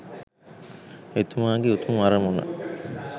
එතුමාගේ උතුම් අරමුණ